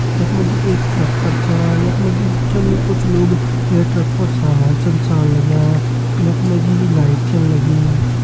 यख मा जी एक ट्रक कर छयख मा जी कुछ लोग ये ट्रक पर सामान छन सारण लग्यां यख मा जी लाइट छिन लगीं।